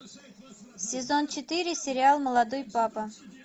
сезон четыре сериал молодой папа